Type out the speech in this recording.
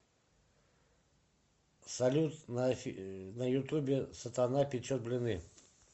салют на ютубе сатана печет блины